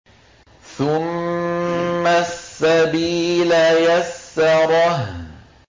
ثُمَّ السَّبِيلَ يَسَّرَهُ